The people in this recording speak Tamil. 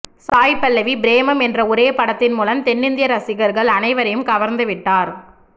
சாய் பல்லவி ப்ரேமம் என்ற ஒரே படத்தின் மூலம் தென்னிந்திய ரசிகர்கள் அனைவரையும் கவர்ந்துவிட்டார்